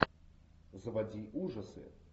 заводи ужасы